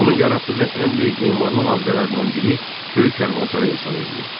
Onun yaratdığı ən böyük memarlıq abidələrindən biri Böyük Karvansaray hesab olunur.